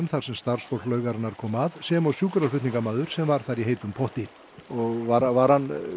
þar sem starfsfólk laugarinnar kom að sem og sjúkraflutningamaður sem var þar í heitum potti var var hann